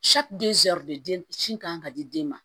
den sin kan ka di den ma